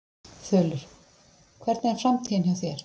Þulur: Hvernig er framtíðin hjá þér?